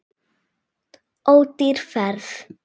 Ódýr ferð.